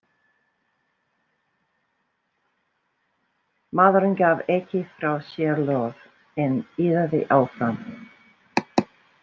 Maðurinn gaf ekki frá sér hljóð en iðaði áfram.